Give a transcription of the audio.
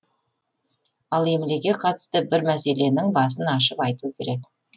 ал емлеге қатысты бір мәселенің басын ашып айту керек